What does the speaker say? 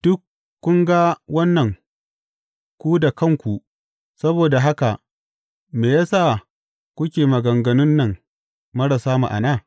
Duk kun ga wannan ku da kanku saboda haka me ya sa kuke maganganun nan marasa ma’ana?